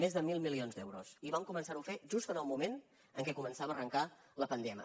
més de mil milions d’euros i vam començar ho a fer just en el moment en què començava a arrencar la pandèmia